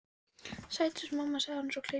Sæt eins og mamma, sagði hann svo og kleip mömmu.